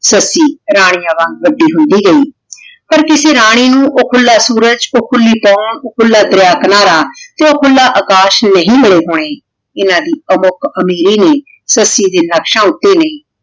ਸੱਸੀ ਰਾਨਿਯਾਂ ਵਾਂਗ ਵੱਡੀ ਹੁੰਦੀ ਗਈ ਪਰ ਕਿਸੇ ਰਾਨੀ ਨੂ ਊ ਖੁਲਾ ਸੂਰਜ ਊ ਖੁਲੀ ਹਵਾ ਓ ਖੁਲਾ ਦਰਿਆ ਕਿਨਾਰਾ ਤੇ ਊ ਖੁਲਾ ਆਕਾਸ਼ ਨਹੀ ਮਿਲੇ ਹੋਣੇ ਜਿੰਨਾਂ ਦੀ ਅਮੁਕ ਅਮੀਰੀ ਨੇ ਸੱਸੀ ਦੇ ਨਕਸ਼ਾਂ ਉਤੇ ਨਹੀ